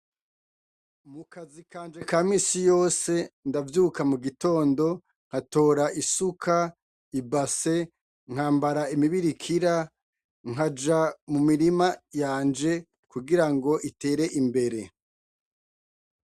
Mu kazi kanje ka minsi yose ndavyuka mugatondo, nkatora isuka, ibase, nkambara imibirikira nkaja mu mirima yanje kugirango itere imbere .